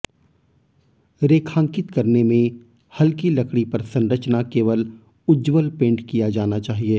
रेखांकित करने में हल्की लकड़ी पर संरचना केवल उज्ज्वल पेंट किया जाना चाहिए